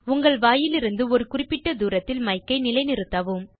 உங்கள் வாயிலிருந்து ஒரு குறிப்பிட்ட தூரத்தில் மைக்கை நிலை நிறுத்தவும்